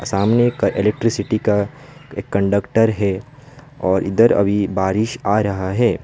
सामने का इलेक्ट्रिसिटी का एक कंडक्टर है और इधर अभी बारिश आ रहा है।